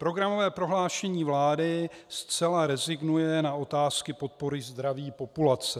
Programové prohlášení vlády zcela rezignuje na otázky podpory zdraví populace.